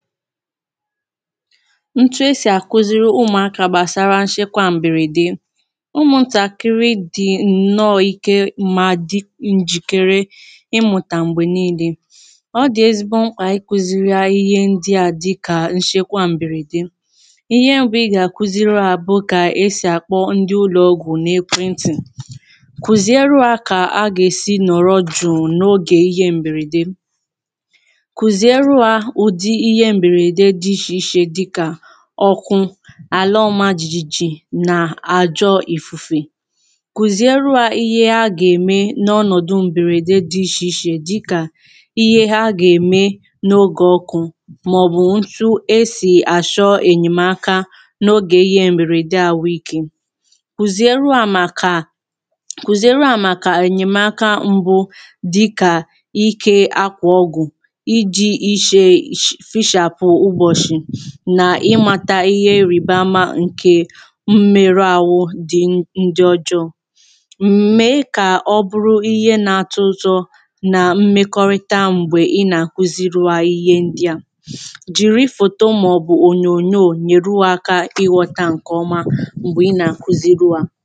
Ntù esi akùziri ụmụaka gbasara nchekwa mberede. Ụmụ ntakịrị dị nnọ̀ịke ma dị ụm njikere ịmụta mgbe niile. Ọ dị ezigbo mkpa ikùziri ha ihe ndị a dịka nchekwa mberede. Ihe mbụ ị ga-akùziri ha bụ ka esi akpọ ndị ụlọọgwụ n’ekwentị, kuziere ha ka a ga-esi nọrọ jụụ n’oge ihe mberede. Kuziere ha ụdị ihe mberede dị iche iche dịka ọkụ, ala ọma jijiji, na-ajọ ifufe. Kuziere ha ihe ha ga-eme n’ọnọdụ mberede dị iche iche, dịka ihe ha ga-eme n’oge ọkụ ma ọ bụ otú e si achọ enyemaka n’oge ihe mberede ahụike. Kuziere ha maka enyemaka mbụ, dịka ịkẹ̀ akwa ọgụ, iji ụm iche fịchapụ ụbọchị, na ịmata ihe eríbamà nke mmerụ ahụ dị ụm. Ndị ọjọọ mmè ka ọ bụrụ ihe na-atọ̇ ụtọ nà mmekọrịta mgbè ị nà-akùziri ha ihe ndị a jiri fòto ma ọ̀bụ̀ ònyònyò nyere ha aka ịghọ̇ta nke ọma mgbè ị nà-akùziri ha.